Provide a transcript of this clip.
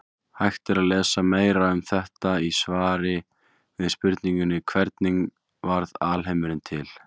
Hægt er að lesa meira um þetta í svari við spurningunni Hvernig varð alheimurinn til?